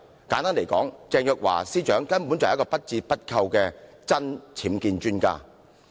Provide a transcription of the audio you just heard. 簡單來說，鄭若驊司長根本是一個不折不扣的"真.僭建專家"。